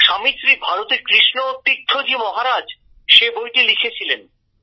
স্বামী শ্রী ভারতী কৃষ্ণ তীর্থ জি মহারাজ সে বইটি লিখেছিলেন